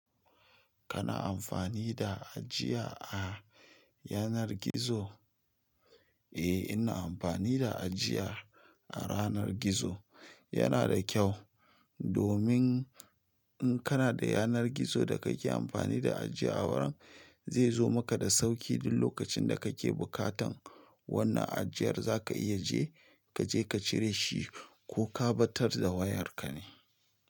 Kana amfani da ajiya a yanar gizo? Eh, ina amfani da ajiya a yanar gizo. Yana da kyau domin in kana da yanar gizo da kake amfani da ajiya waya, zai zo maka da sauƙi duk lokacin da kake buƙatan wannan ajiyar zaka iya je kaje ka cire shi ko ka ɓatar da wayarka ne.